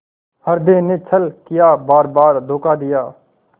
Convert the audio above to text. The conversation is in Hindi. हृदय ने छल किया बारबार धोखा दिया